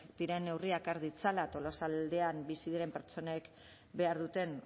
diren neurriak har ditzala tolosaldean bizi diren pertsonek behar duten